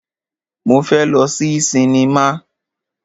Mo fẹ́ lọ sí sinimá.